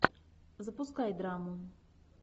запускай драму